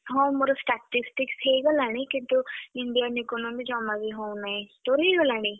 ହଁ ମୋର Statistics ହେଇଗଲାଣି କିନ୍ତୁ Indian Economic ଜମା ବି ହଉନାଇ। ତୋର ହେଇଗଲାଣି?